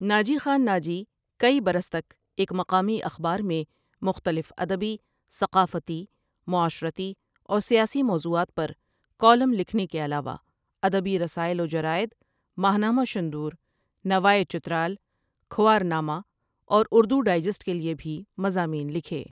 ناجی خان ناجی کئی برس تک ایک مقامی اخبار میں مختلف ادبی ،ثقافتی، معاشرتی، اور سیاسی موضوعات پر کالم لکھنے کے علاوہ ادبی رسائل وجرائد ماہنامہ شندور، نواۓ چترال ،کھوار نامہ، اور اردو ڈائجسٹ کے لۓ بھی مضامین لکھے ۔